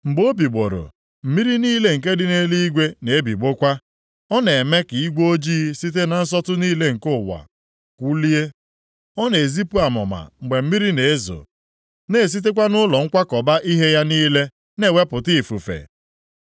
Mgbe o bigbọrọ, mmiri niile nke dị nʼeluigwe na-ebigbọkwa. Ọ na-eme ka igwe ojii site na nsọtụ niile nke ụwa kwụlie. Ọ na-ezipụ amụma mgbe mmiri na-ezo, na-esitekwa nʼụlọ nkwakọba ihe ya niile na-ewepụta ifufe.